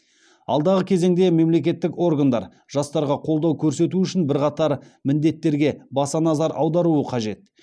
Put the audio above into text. алдағы кезеңде мемлекеттік органдар жастарға қолдау көрсету үшін бірқатар міндеттерге баса назар аударуы қажет